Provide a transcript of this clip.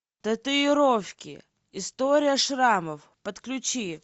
татуировки история шрамов подключи